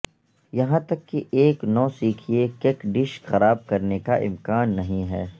یہاں تک کہ ایک نوسکھئیے کک ڈش خراب کرنے کا امکان نہیں ہے